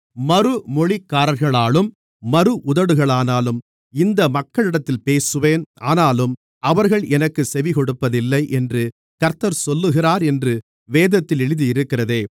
மறுமொழிக்காரர்களாலும் மறு உதடுகளாலும் இந்த மக்களிடத்தில் பேசுவேன் ஆனாலும் அவர்கள் எனக்குச் செவிகொடுப்பதில்லை என்று கர்த்தர் சொல்லுகிறார் என்று வேதத்தில் எழுதியிருக்கிறதே